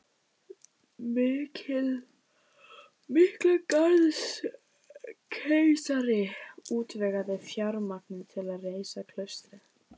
Miklagarðskeisari útvegaði fjármagnið til að reisa klaustrið